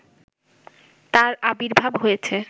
তার আবির্ভাব হয়েছে